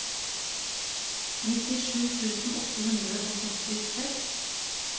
nittisju tusen åtte hundre og sekstiseks